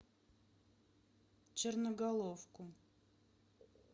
черноголовку